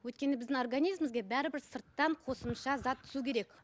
өйткені біздің организмізге бәрібір сырттан қосымша зат түсу керек